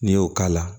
N'i y'o k'a la